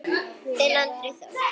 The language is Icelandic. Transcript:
Þinn Andri Þór.